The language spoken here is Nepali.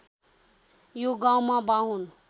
यो गाउँमा बाहुन